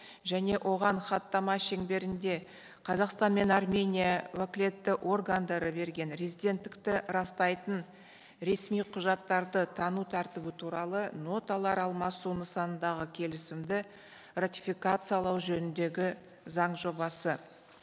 және оған хаттама шеңберінде қазақстан мен армения уәкілетті органдары берген резиденттікті растайтын ресми құжаттарды тану тәртібі туралы ноталар алмасу нысанындағы келісімді ратификациялау жөніндегі заң жобасы